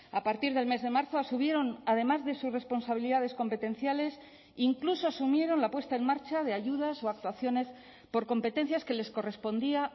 a partir del mes de marzo asumieron además de sus responsabilidades competenciales incluso asumieron la puesta en marcha de ayudas o actuaciones por competencias que les correspondía